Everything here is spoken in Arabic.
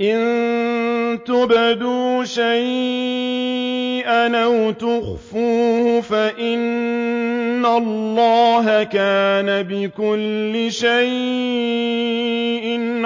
إِن تُبْدُوا شَيْئًا أَوْ تُخْفُوهُ فَإِنَّ اللَّهَ كَانَ بِكُلِّ شَيْءٍ